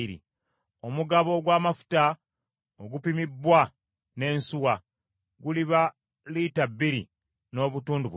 Omugabo ogw’amafuta, ogupimibbwa n’ensuwa, guliba lita bbiri n’obutundu bubiri.